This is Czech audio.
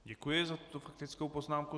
Děkuji za tuto faktickou poznámku.